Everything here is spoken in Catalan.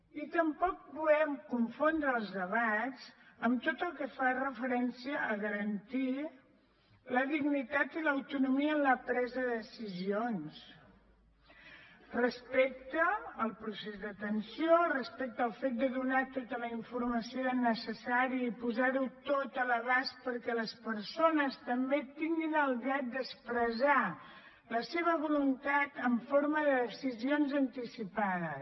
i tampoc volem confondre els debats amb tot el que fa referència a garantir la dignitat i l’autonomia en la pressa de decisions respecte al procés d’atenció respecte al fet de donar tota la informació necessària i posar ho tot a l’abast perquè les persones també tinguin el dret d’expressar la seva voluntat en forma de decisions anticipades